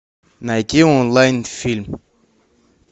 найти онлайн фильм